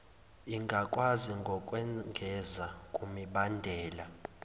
ingakwazi ngokwengeza kumibandela